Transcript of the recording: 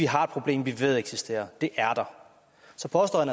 har et problem vi ved eksisterer det er der så påstår